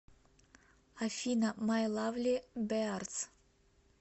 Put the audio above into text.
афина май лавли беарз